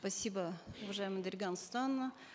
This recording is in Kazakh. спасибо уважаемая дарига нурсултановна